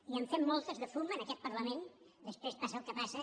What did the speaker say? i en fem moltes de fum en aquest parlament després passa el que passa